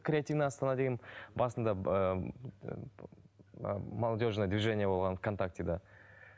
креативная астана деген басында молодежная движение болған в контактіде